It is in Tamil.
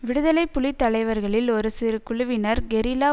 விடுதலை புலி தலைவர்களில் ஒரு சிறு குழுவினர் கெரில்லா